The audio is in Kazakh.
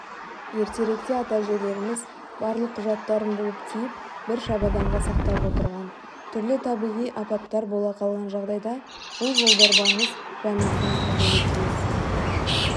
ертеректе ата-әжелеріміз барлық құжаттарын буып-түйіп бір шабаданға сақтап отырған түрлі табиғи апаттар бола қалған жағдайда бұл жолдорбаңыз жаныңыздан табылуы тиіс